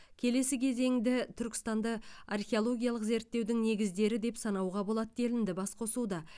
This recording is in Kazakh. келесі кезеңді түркістанды археологиялық зерттеудің негіздері деп санауға болады делінді басқосуда